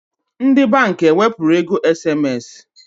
Ndi bank ewepuru ego SMS?